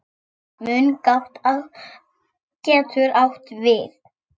Mungát getur átt við